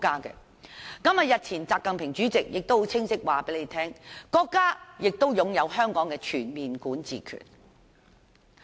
國家主席習近平日前亦清晰指出，國家對香港擁有全面管治權。